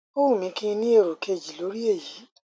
ó wù mí kí n ní èrò kejì lórí èyí